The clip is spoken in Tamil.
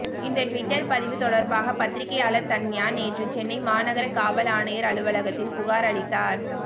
இந்த டுவிட்டர் பதிவு தொடர்பாக பத்திரிகையாளர் தன்யா நேற்று சென்னை மாநகர காவல் ஆணையர் அலுவலகத்தில் புகார் அளித்தார்